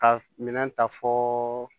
Ka minɛn ta fɔ